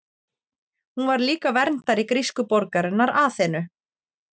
Hún var líka verndari grísku borgarinnar Aþenu.